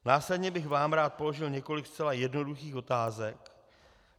Následně bych vám rád položil několik zcela jednoduchých otázek.